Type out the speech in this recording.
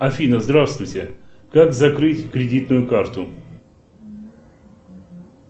афина здравствуйте как закрыть кредитную карту